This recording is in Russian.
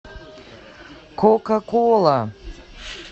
кока кола